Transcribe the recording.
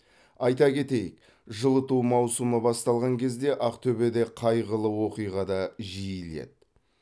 айта кетейік жылыту маусымы басталған кезде ақтөбеде қайғылы оқиға да жиіледі